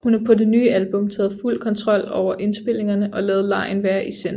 Hun har på det nye album taget fuld kontrol over indspilningerne og ladet legen være i centrum